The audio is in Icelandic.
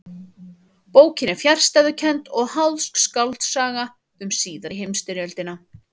Bókin er fjarstæðukennd og háðsk skáldsaga um síðari heimstyrjöldina.